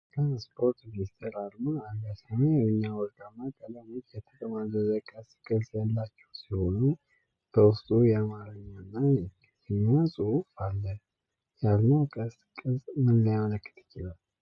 የትራንስፖርት ሚኒስቴር አርማ አለ። ሰማያዊ እና ወርቃማ ቀለሞች የተጠማዘዘ ቀስት ቅርፅ ያላቸው ሲሆኑ በውስጡ የአማርኛና የእንግሊዘኛ ጽሑፍ አለ። የአርማው ቀስት ቅርጽ ምን ሊያመለክት ይችላል?